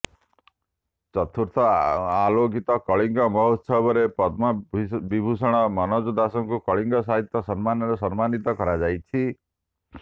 ଚୁତର୍ଥ ଅଲୌକିକ କଳିଙ୍ଗ ମହୋତ୍ସବରେ ପଦ୍ମବିଭୂଷଣ ମନୋଜ ଦାସଙ୍କୁ କଳିଙ୍ଗ ସାହିତ୍ୟ ସମ୍ମାନରେ ସମ୍ମାନିତ କରାଯାଇଛି